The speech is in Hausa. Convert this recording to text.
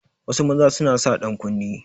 Wasu maza suna sa dankunne